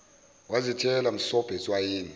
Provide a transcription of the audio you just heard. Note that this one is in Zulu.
wazithela msobho etswayini